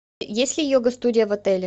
есть ли йога студия в отеле